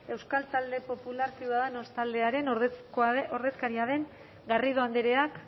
euskal talde popular ciudadanos taldearen ordezkaria den garrido andreak